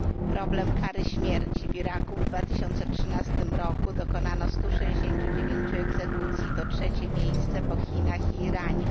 Problem kary śmierci w Iraku w 2013 roku dokonano 169 egzekucji, to trzecie miejsce po Chinach i Iranie.